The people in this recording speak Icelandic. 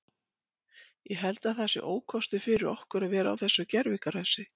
Ég held að það sé ókostur fyrir okkur að vera á þessu gervigrasi.